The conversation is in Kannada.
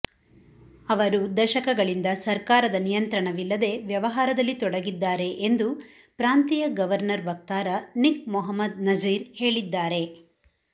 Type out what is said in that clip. ಅವರು ದಶಕಗಳಿಂದ ಸರ್ಕಾರದ ನಿಯಂತ್ರಣವಿಲ್ಲದೆ ವ್ಯವಹಾರದಲ್ಲಿ ತೊಡಗಿದ್ದಾರೆ ಎಂದು ಪ್ರಾಂತೀಯ ಗವರ್ನರ್ ವಕ್ತಾರ ನಿಕ್ ಮೊಹಮ್ಮದ್ ನಝೀರ್ ಹೇಳಿದ್ದಾರೆ